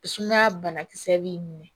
Sumaya banakisɛ b'i minɛ